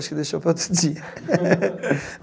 Acho que deixou para outro dia.